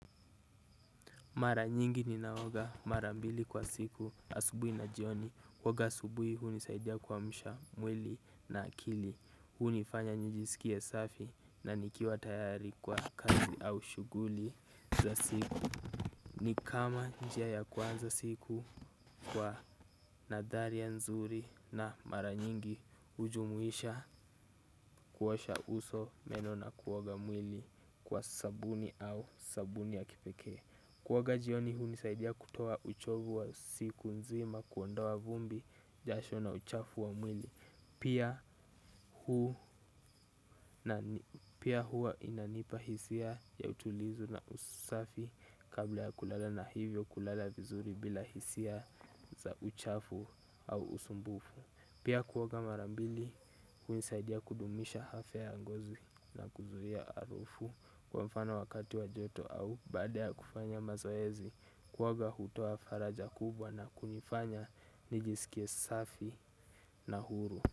Mara nyingi ninaoga marambili kwa siku asubuhi na jioni kuoga asubuhi huni saidia kuamsha mwili na akili. Hunifanya nijisikie safi na nikiwa tayari kwa kazi au shughuli za siku. Ni kama njia ya kwanza siku kwa nadharia nzuri na mara nyingi ujumuisha kuosha uso meno na kuoga mwili kwa sabuni au sabuni ya kipekee. Kuoga jioni hunisaidia kutoa uchovu wa siku nzima kuondoa vumbi jasho na uchafu wa mwili. Pia hua inanipa hisia ya utulizu na usafi kabla ya kulala na hivyo kulala vizuri bila hisia za uchafu au usumbufu. Pia kuoga marambili imenisaidia kudumisha afya ya ngozi na kuzuia harufu. Kwa mfano wakati wa joto au baade ya kufanya mazoezi kuwaga hutoa faraja kubwa na kunifanya nijisikie safi na huru.